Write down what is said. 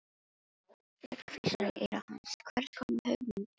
Rödd hvíslar í eyra hans: Hvers konar hugmynd ertu?